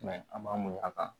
a ma muɲun a kan